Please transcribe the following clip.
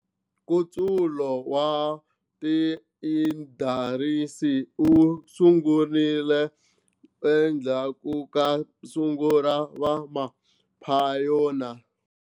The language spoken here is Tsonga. Nkutsulo wa tiindarisi wu sungurile endzhaku kasungu ra va maphayona.